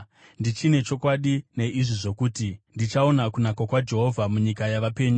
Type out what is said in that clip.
Ndichine chokwadi neizvi zvokuti: ndichaona kunaka kwaJehovha munyika yavapenyu.